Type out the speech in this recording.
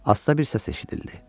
Asta bir səs eşidildi.